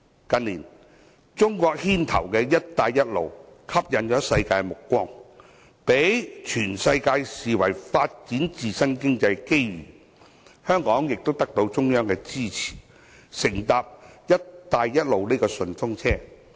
近年，由中國牽頭的"一帶一路"吸引了世界目光，被全世界視為發展經濟的機遇，香港亦得到中央支持，乘搭"一帶一路"順風車。